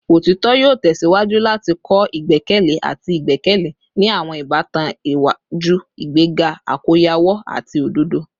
Otitọ yoo tẹsiwaju lati kọ igbẹkẹle ati igbẹkẹle ni awọn ibatan iwaju, igbega akoyawo ati ododo